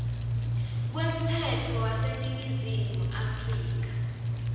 kwemtsetfo waseningizimu afrika